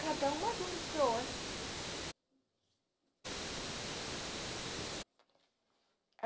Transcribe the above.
Cada um mais um do que o outro.